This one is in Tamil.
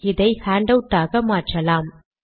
இதை ஹான்ட் அவுட் ஆக மாற்றலாம்